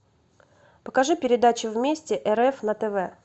покажи передачу вместе рф на тв